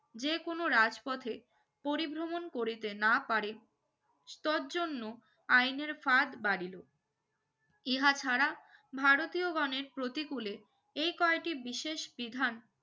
যে কোনো রাজ পথে পরিভ্রমন করিতে না পারে স্তর জন্য আইনের ফাদ বারিলো ইহা ছাড়া ভারতীয় গনের প্রতিকুলে এই কয়টি বিশেষ বিধান